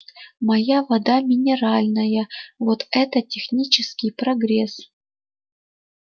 моя вода минеральная вот это технический прогресс